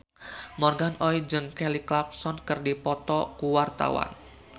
Morgan Oey jeung Kelly Clarkson keur dipoto ku wartawan